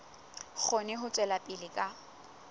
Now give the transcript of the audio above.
kgone ho tswela pele ka